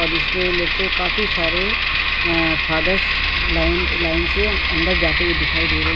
और इसमें मेरेको काफी सारे आं-फादर्स लाइन लाइन से अंदर जाते हुए दिखाई दे रहे हैं।